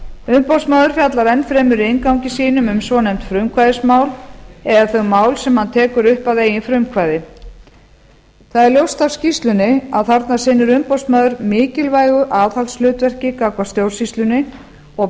umboðsmaður fjallar enn fremur í inngangi sínum um svonefnd frumkvæðismál eða þau mál sem hann tekur upp að eigin frumkvæði það er ljóst af skýrslunni að þarna sinnir umboðsmaður mikilvægu aðhaldshlutverki gagnvart stjórnsýslunni og